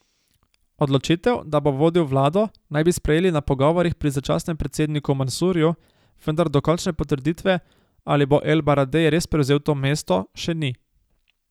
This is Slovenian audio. Odločitev, da bo vodil vlado, naj bi sprejeli na pogovorih pri začasnem predsedniku Mansurju, vendar dokončne potrditve, ali bo El Baradej res prevzel to mesto, še ni.